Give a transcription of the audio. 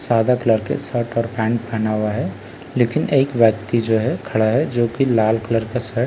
सादा कलर के शर्ट और पेंट पहना हुआ है लेकिन एक व्‍यक्ति जो है खड़ा है जो कि लाल कलर का शर्ट और --